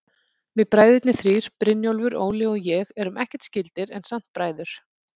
Við bræðurnir þrír, Brynjólfur, Óli og ég, erum ekkert skyldir, en samt bræður.